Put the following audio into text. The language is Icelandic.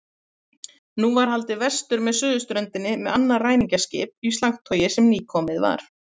Nú var haldið vestur með suðurströndinni með annað ræningjaskip í slagtogi sem nýkomið var.